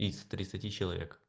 из тридцати человек